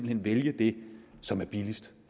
hen vælge det som er billigst